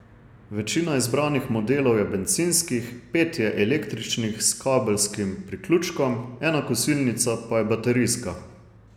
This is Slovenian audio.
Večina izbranih modelov je bencinskih, pet je električnih s kabelskim priključkom, ena kosilnica pa je baterijska.